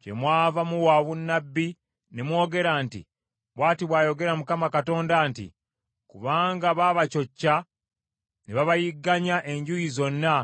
Kyemwava muwa obunnabbi ne mwogera nti, ‘Bw’ati bw’ayogera Mukama Katonda nti, Kubanga baabacocca ne babayigganya enjuuyi zonna